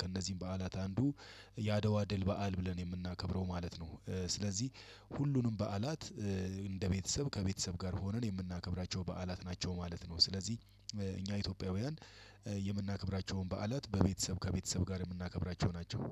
ከእነዚህም በዓላት አንዱ የአድዋ ድል በዓል ብለን የምናከብረው ማለት ነው። ስለዚህ ሁሉንም በዓላት እንደ ቤተሰብ ከቤተሰብ ጋር ሆነን የምናከብራቸው በዓላት ናቸው ማለት ነው። ስለዚህ እኛ ኢትዮጵያውያን የምናከብራቸውን በዓላት በቤተሰብ ከቤተሰብ ጋር የምናከብራቸው ናቸው።